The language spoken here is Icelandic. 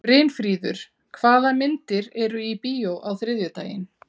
Brynfríður, hvaða myndir eru í bíó á þriðjudaginn?